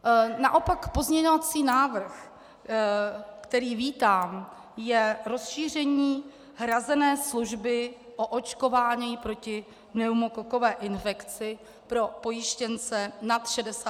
Naopak pozměňovací návrh, který vítám, je rozšíření hrazené služby o očkování proti pneumokokové infekci pro pojištěnce nad 65 let věku.